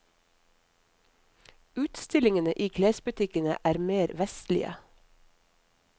Utstillingene i klesbutikkene er mer vestlige.